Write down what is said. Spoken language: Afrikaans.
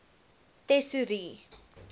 tesourie